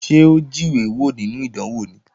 Ṣé ó jíwé wò nínú ìdánwò ni?